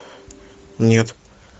нет